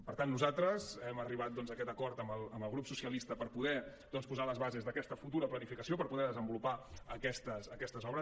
per tant nosaltres hem arribat a aquest acord amb el grup socialista per poder posar les bases d’aquesta futura planificació per poder desenvolupar aquestes obres